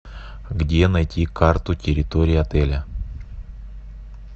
где найти карту территории отеля